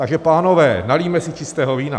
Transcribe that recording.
Takže, pánové, nalijme si čistého vína.